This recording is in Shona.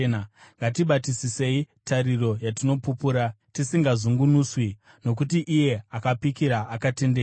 Ngatibatisisei tariro yatinopupura, tisingazungunuswi, nokuti iye akapikira akatendeka.